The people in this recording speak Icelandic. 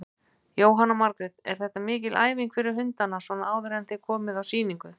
Jóhanna Margrét: Er þetta mikil æfing fyrir hundana svona áður en þið komið á sýningu?